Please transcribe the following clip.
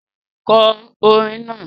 Kọ orin náà!